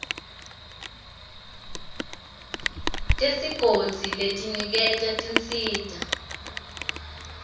tesigodzi letiniketa tinsita